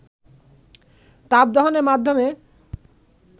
তাপদহনের মাধ্যমে